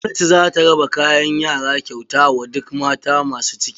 Gwamnati zata raba kayan yara kyauta wa duk mata masu ciki.